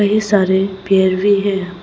कई सारे भेड़ भी हैं।